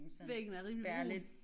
Væggen er rimelig brun